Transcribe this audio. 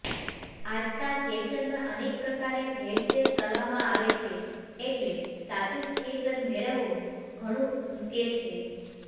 આજકાલ કેસરમાં અનેક પ્રકારે ભેળસેળ કરવામાં આવે છે એટલે સાચું કેસર મેળવવું ઘણું મુશ્કેલ છે